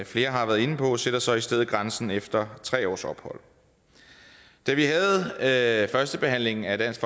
flere har været inde på sætter så i stedet grænsen efter tre års ophold da vi havde førstebehandlingen af dansk